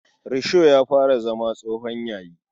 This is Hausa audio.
Risho ya fara zama tsohon yayi.